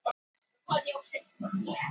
Hver vill súkkulaði og smákökur?